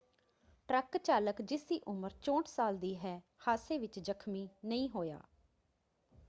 Truck ਚਾਲਕ ਜਿਸਦੀ ਉਮਰ 64 ਸਾਲ ਦੀ ਹੈ ਹਾਦਸੇ ਵਿੱਚ ਜਖ਼ਮੀ ਨਹੀਂ ਹੋਇਆ।